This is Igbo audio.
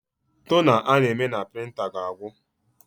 Tona a na-eme na prịnta ga-agwụ